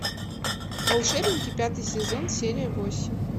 волшебники пятый сезон серия восемь